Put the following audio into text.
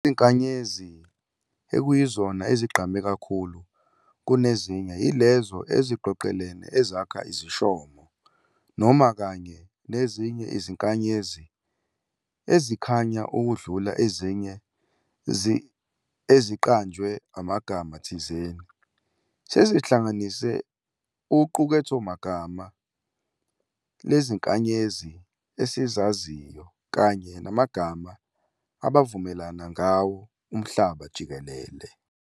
Izinkanyezi ekuyizona ezigqame kakhulu kunezinye ilezo eziqoqelene ezakha iziShomo, noma, kanye nezinye iziNkanyezi ezikhanya ukudlula ezinye eziqanjwe amagama thizeni. sezihlanganise uqukethomagama leziNkanyezi esizaziyo kanye namagama abavumelana ngawo umhlaba jikelele.